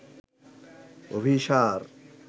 Abhisar